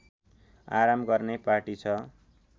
आराम गर्ने पाटी छ